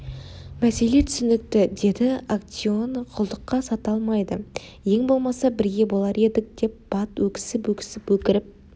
мәселе түсінікті деді актеоны құлдыққа сата алмайды ең болмаса бірге болар едік деп бат өксіп-өксіп өкіріп